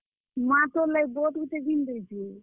ମାଁ ତୋର୍ ଲାଗି ବୋଟ୍ ଗୁଟେ ଘିନ୍ ଦେଇଛେ।